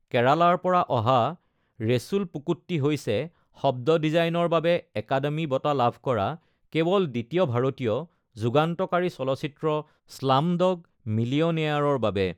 কেৰালাৰ পৰা অহা ৰেছুল পুকুট্টি হৈছে শব্দ ডিজাইনৰ বাবে একাডেমী বঁটা লাভ কৰা কেৱল দ্বিতীয় ভাৰতীয়, যুগান্তকাৰী চলচ্চিত্ৰ স্লামডগ মিলিয়নেয়াৰৰ বাবে।